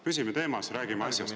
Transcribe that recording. Püsime teemas, räägime asjast.